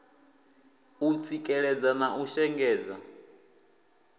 u tsikeledza na u shengedza